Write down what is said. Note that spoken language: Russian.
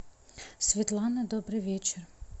светлана добрый вечер